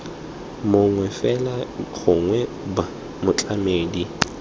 mongwe fela gongwe b motlamedi